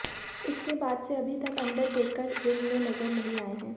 इसके बाद से अभी तक अंडरटेकर रिंग में नजर नहीं आए हैं